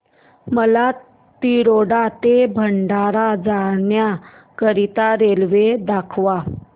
मला तिरोडा ते भंडारा जाण्या करीता रेल्वे दाखवा